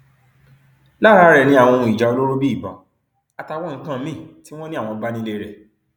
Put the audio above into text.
lára rẹ ni àwọn ohun ìjà olóró bíi ìbọn àtàwọn nǹkan míín tí wọn ní àwọn bá nílé rẹ